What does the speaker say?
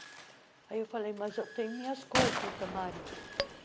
Aí eu falei, mas eu tenho minhas coisas no camarim.